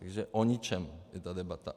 Takže o ničem je ta debata.